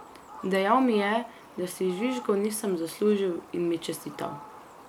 Dejal mi je, da si žvižgov nisem zaslužil, in mi čestital.